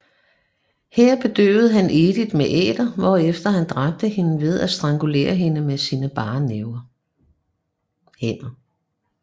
Her bedøvede han Edith med æter hvorefter han dræbte hende ved at strangulere hende med sine bare hænder